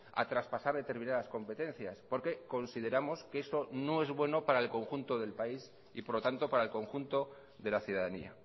a traspasar determinadas competencias porque consideramos que eso no es bueno para el conjunto del país y por lo tanto para el conjunto de la ciudadanía